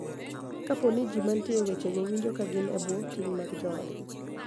Kapo ni ji ma nitie e wechego winjo ka gin e bwo ting� mag joodgi.